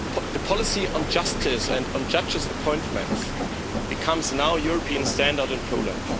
The policy on justice and on judges' appointments becomes now the European standard in Poland.